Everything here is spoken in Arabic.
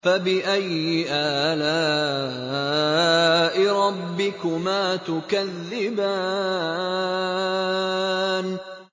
فَبِأَيِّ آلَاءِ رَبِّكُمَا تُكَذِّبَانِ